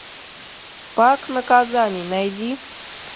пакт наказаний найди